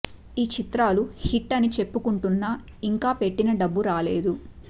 ఈ చిత్రాలు హిట్ అని చెప్పుకుంటున్నా ఇంకా పెట్టిన డబ్బు రాలేదు